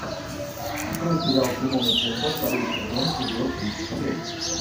открой сериал тимон и пумба второй сезон эпизод тридцать семь